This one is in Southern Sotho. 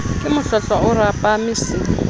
ke mohlohlwa o rapame se